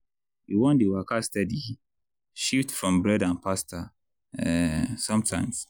you wan dey waka steady? shift from bread and pasta um sometimes.